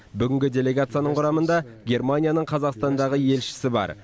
бүгінгі делегацияның құрамында германияның қазақстандағы елшісі бар